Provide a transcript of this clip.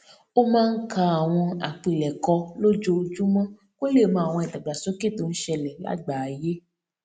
ó máa ń ka àwọn àpilèkọ lójoojúmó kó lè mọ àwọn ìdàgbàsókè tó ń ṣẹlè lágbàáyé